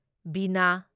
ꯚꯤꯅꯥ